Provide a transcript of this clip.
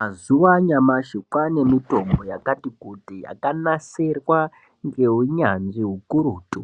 Mazuwa anyamashi kwane mitombo yakati kuti yakanasirwa ngeunyanzvi ukurutu